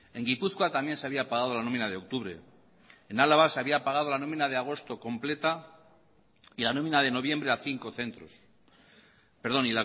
en gipuzkoa también se había pagado la nómina de octubre en álava se había pagado la nómina de agosto completa y la nómina de noviembre a cinco centros perdón